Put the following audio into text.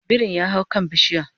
birin ya hau kan bishiya